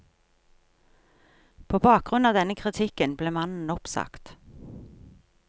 På bakgrunn av denne kritikken ble mannen oppsagt.